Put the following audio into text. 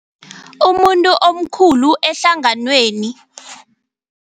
Umuntu omkhulu ehlanganweni.